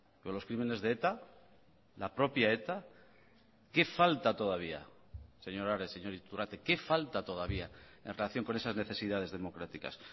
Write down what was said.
pero los crímenes de eta la propia eta qué falta todavía señor ares señor iturrate qué falta todavía en relación con esas necesidades democráticas